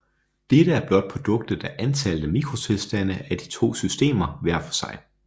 Dette er blot produktet af antallet af mikrotilstande af de to systemer hver for sig